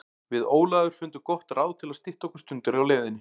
Við Ólafur fundum gott ráð til að stytta okkur stundir á leiðinni.